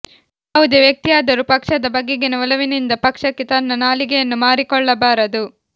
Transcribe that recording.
ಯಾವುದೇ ವ್ಯಕ್ತಿಯಾದರೂ ಪಕ್ಷದ ಬಗೆಗಿನ ಒಲವಿನಿಂದ ಪಕ್ಷಕ್ಕೆ ತನ್ನ ನಾಲಿಗೆಯನ್ನು ಮಾರಿಕೊಳ್ಳಬಾರದು